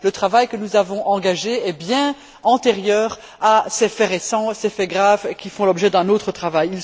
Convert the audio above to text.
Le travail que nous avons engagé est bien antérieur à ces faits récents, ces faits graves, qui font l'objet d'un autre travail.